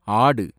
ஆடு